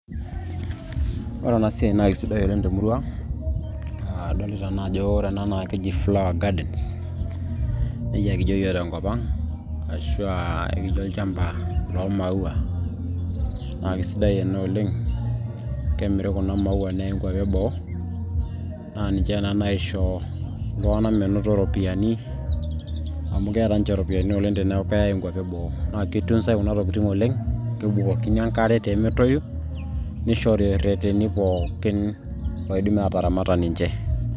ore ena siai naa kisidai oleng temurua aa adolita naa ajo ore ena naa keji flower gardens nejia yiok kijio tenkop ang ashu aa ekijo olchamba loo maua naa kisidai ena oleng kemiri kuna maua neyai inkuapi eboo naa ninche naa naisho iltung'anak menoto iropiyiani amu keeta ninche iropiyiani oleng teneeku keyay inkuapi eboo naa kitunzay kuna tokitin oleng kebukokini enkare tee metoyu nishori irreteni pookin loidim naa ataramata ninche.